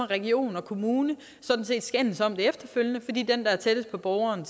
region og kommune sådan set må skændes om det efterfølgende fordi den der er tættest på borgeren